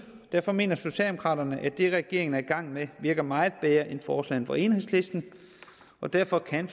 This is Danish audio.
derfor mener socialdemokraterne at det regeringen er i gang med virker meget bedre end forslagene fra enhedslisten og derfor kan